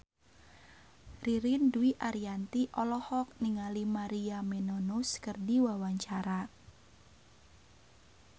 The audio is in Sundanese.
Ririn Dwi Ariyanti olohok ningali Maria Menounos keur diwawancara